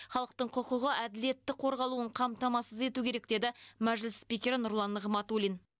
халықтың құқығы әділетті қорғалуын қамтамасыз ету керек деді мәжіліс спикері нұрлан нығматулин